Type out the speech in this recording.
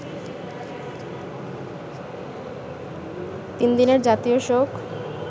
তিন দিনের জাতীয় শোক